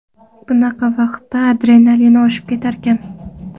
Bunaqa vaqtda adrenalin oshib ketarkan.